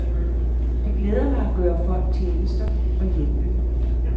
Det glæder mig at gøre folk tjenester og hjælpe.